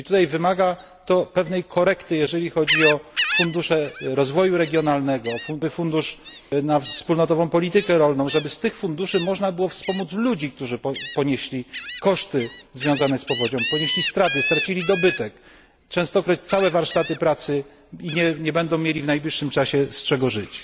Wymaga to pewnej korekty, jeżeli chodzi o fundusze rozwoju regionalnego, fundusz na wspólnotową politykę rolną, żeby z tych funduszy można było wspomóc ludzi, którzy ponieśli straty związane z powodzią, stracili dobytek, częstokroć całe warsztaty pracy i nie będą mieli w najbliższym czasie z czego żyć.